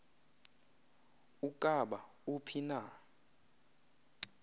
ukaba uphi na